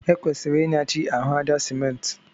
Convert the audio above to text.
E kwesịrị Ị nyachi ahụ àjá Simenti